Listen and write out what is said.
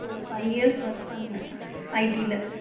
ஒரு five years work பண்ணுனேன் IT ல.